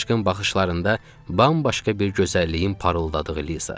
Çaşqın baxışlarında bambaşqa bir gözəlliyin parıldadığı Liza.